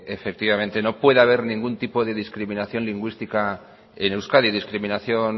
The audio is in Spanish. efectivamente no pueda ver ningún tipo de discriminación lingüística en euskadi discriminación